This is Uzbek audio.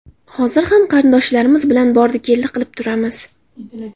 Hozir ham qarindoshlarimiz bilan bordi-keldi qilib turamiz.